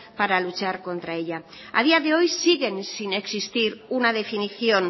para luchar contra ellas a día de hoy siguen sin existir una definición